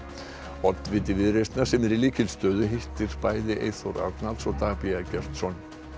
oddviti Viðreisnar sem er í lykilstöðu hittir bæði Eyþór Arnalds og Dag b Eggertsson í